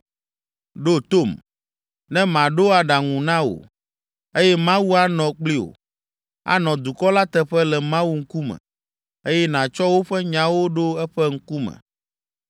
Ɖo tom, ne maɖo aɖaŋu na wò, eye Mawu anɔ kpli wò, Ànɔ dukɔ la teƒe le Mawu ŋkume, eye nàtsɔ woƒe nyawo ɖo eƒe ŋkume.